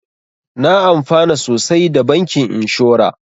Na amfana sosai da bankin inshora